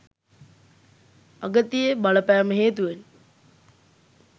අගතියේ බලපෑම හේතුවෙන්